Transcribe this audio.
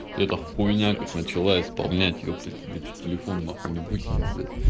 это хуйня как начала исполнять епта тебя че телефон нахуй не выкинул блять